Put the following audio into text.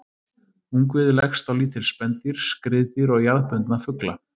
Ungviði leggst á lítil spendýr, skriðdýr og jarðbundna fugla.